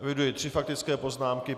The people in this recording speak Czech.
Eviduji tři faktické poznámky.